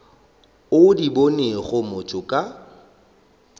o di bonego motho ka